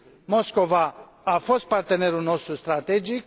Moscova a fost partenerul nostru strategic